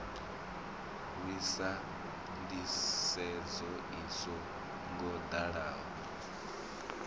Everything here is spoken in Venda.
lwisa nḓisedzo i so ngoḓaho